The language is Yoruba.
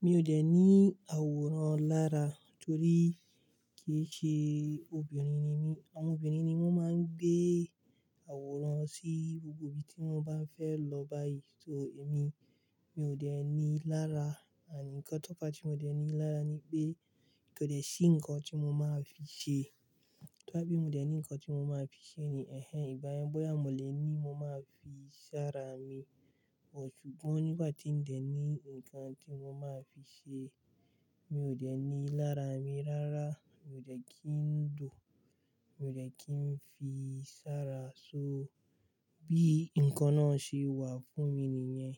Mi òo dẹ̀ ní àwòrán lára torí kìí ṣe obìnrin ni mí. Àwọn obìnrin ni wọ́n máa ń gbé àwòrán sí gbogbo ibi tí wọ́n bá ń fẹ́ lọ báyìí. So èmi, mi ò dẹ̀ ní i lára. Nǹkan tó fa tí mo dẹ̀ ní i lára ni pé kò dẹ̀ sí nǹkan tí mo máa fi ṣe. To bá ti mo dẹ̀ ní nǹkan tí mo máa fi ṣe ni ẹ̀en ìgbáyẹn bóyá mo lè ní mo máa fi sára mi. Ṣùgbọ́n nígbà tí n dẹ̀ ní nǹkan tí mo máa fi ṣe, mi ò dẹ̀ ní i lára mi rárá. Mi ò dẹ̀ kí ń jùn, mi ò dẹ̀ kí ń fi sára. So bí nǹkan náà ṣe wà fún mi nìyẹn,